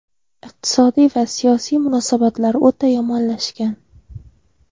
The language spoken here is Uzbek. Iqtisodiy va siyosiy munosabatlar o‘ta yomonlashgan.